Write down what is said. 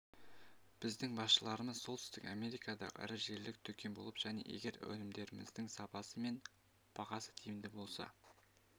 біздің басшыларымыз солтүстік америкадағы ірі желілік дүкен болып және егер өнімдеріңіздің сапасы мен бағасы тиімді болса